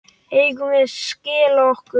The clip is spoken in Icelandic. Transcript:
Eigum við að skella okkur?